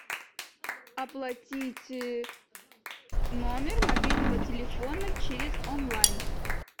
оплатить номер мобильного телефона через онлайн